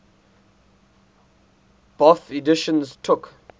bofh editions took